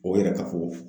O yɛrɛ ka fɔ ko